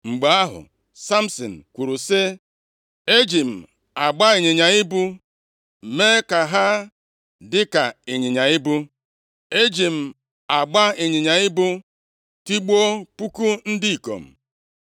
Mgbe ahụ, Samsin kwuru sị, “E ji m agba ịnyịnya ibu mee ka ha dị ka ịnyịnya ibu. E ji m agba ịnyịnya ibu tigbuo puku ndị ikom.”